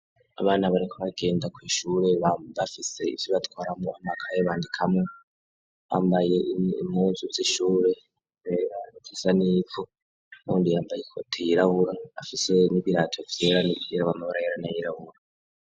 Abana bariko bagenda kw'ishure bafise ivyo batwaramwo amakaye bandikamwo bambaye impuzu z'ishure zera zisa nivu uwundi yambaye Ikoti yirabura afise n'ibirato vyera nivyirabura mumabara hera n'ayirabura.